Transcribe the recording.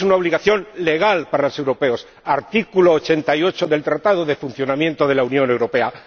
para los europeos es una obligación legal para los europeos artículo 88 del Tratado de Funcionamiento de